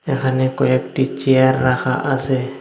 এখানে কয়েকটি চেয়ার রাখা আসে ।